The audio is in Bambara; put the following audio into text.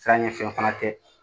Sanke fɛn fana tɛ.